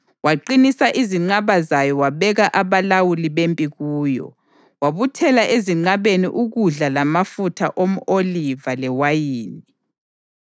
Waqinisa izinqaba zayo wabeka abalawuli bempi kuyo, wabuthela ezinqabeni ukudla lamafutha omʼoliva lewayini.